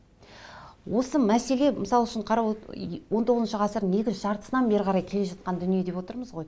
осы мәселе мысал үшін он тоғызыншы ғасырдың екінші жартысынан бері қарай келе жатқан дүние деп отырмыз ғой